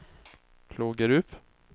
Klågerup